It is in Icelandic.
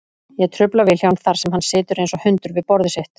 Ég trufla Vilhjálm þar sem hann situr einsog hundur við borðið sitt.